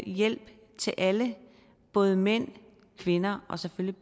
hjælp til alle både mænd kvinder og selvfølgelig